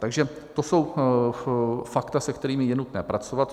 Takže to jsou fakta, se kterými je nutné pracovat.